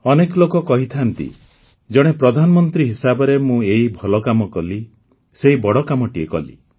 ଅନେକ ଲୋକ କହିଥାନ୍ତି ଯେ ଜଣେ ପ୍ରଧାନମନ୍ତ୍ରୀ ହିସାବରେ ମୁଁ ଏଇ ଭଲ କାମ କଲି ସେଇ ବଡ଼ କାମଟିଏ କଲି